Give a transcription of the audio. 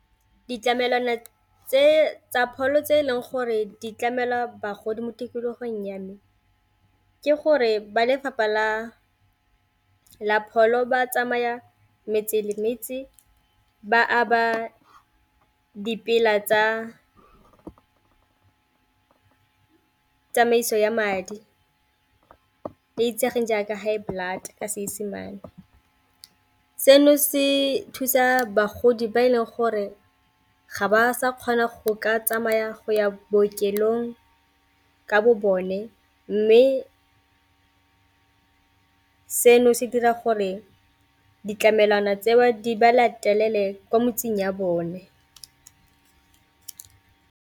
Ditlamelwana tse tsa pholo tse e leng gore di tlamela bagodi mo tikologong ya me ke gore ba lefapha la pholo ba tsamaya metse le metse ba aba dipela tsa tsamaiso ya madi tse itsegeng jaaka high blood ka Seesemane, seno se thusa bagodi ba e leng gore ga ba sa kgona go ka tsamaya go ya bookelong ka bo bone mme seno se dira gore ditlamelwana tseo di ba latelele kwa metseng ya bone.